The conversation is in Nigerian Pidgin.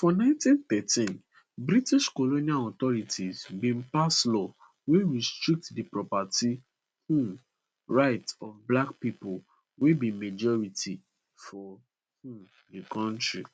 for 1913 british colonial authorities bin pass law wey restrict di property um rights of black pipo wey be majority for um di kontri